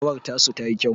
rawar tasu tayi kyau